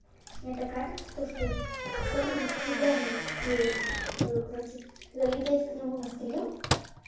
мне так кажется то что я нифига не успею короче залететь к нему на стрим